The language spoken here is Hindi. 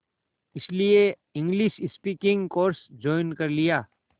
इसलिए इंग्लिश स्पीकिंग कोर्स ज्वाइन कर लिया